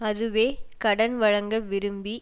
அதுவே கடன் வழங்க விரும்பி